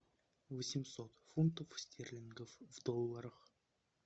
восемьсот фунтов стерлингов в долларах